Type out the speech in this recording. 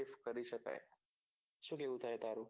શોધ કરી શકાય શું કેવું થાય તારું